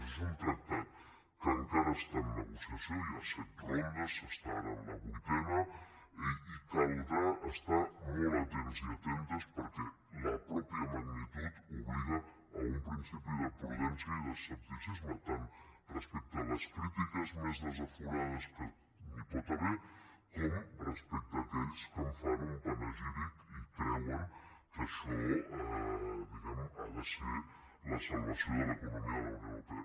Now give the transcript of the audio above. això és un tractat que encara està en negociació hi ha set rondes s’està ara en la vuitena i caldrà estar molt atents i atentes perquè la mateixa magnitud obliga a un principi de prudència i d’escepticisme tant respecte a les crítiques més desaforades que n’hi pot haver com respecte a aquells que en fan un panegíric i creuen que això diguem ne ha de ser la salvació de l’economia de la unió europea